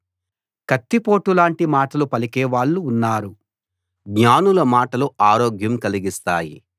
కత్తిపోటులాంటి మాటలు పలికే వాళ్ళు ఉన్నారు జ్ఞానుల మాటలు ఆరోగ్యం కలిగిస్తాయి